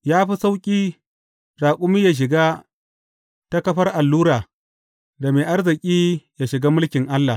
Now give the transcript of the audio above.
Ya fi sauƙi raƙumi yă shiga ta kafar allura, da mai arziki yă shiga mulkin Allah.